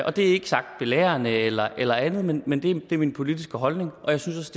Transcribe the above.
og det er ikke sagt belærende eller eller andet men det er min politiske holdning jeg synes